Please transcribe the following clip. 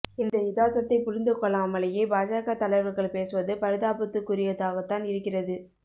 இந்த யதார்த்தத்தை புரிந்து கொள்ளாமலேயே பாஜக தலைவர்கள் பேசுவது பரிதாபத்துக்குரியதாகத்தான் இருக்கிறது